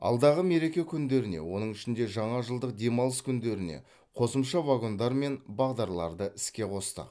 алдағы мереке күндеріне оның ішінде жаңажылдық демалыс күндеріне қосымша вагондар мен бағдарларды іске қостық